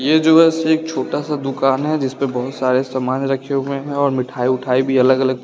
ये जो है सेक छोटा सा दुकान है जिस पर बहुत सारे सामान रखे हुए हैं और मिठाई उठाई भी अलग अलग --